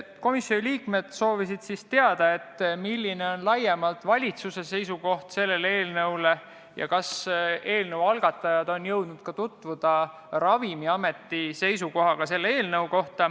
Komisjoni liikmed soovisid teada, milline on laiemalt valitsuse seisukoht selle eelnõu kohta ja kas eelnõu algatajad on jõudnud tutvuda ka Ravimiameti seisukohaga.